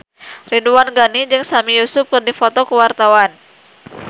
Ridwan Ghani jeung Sami Yusuf keur dipoto ku wartawan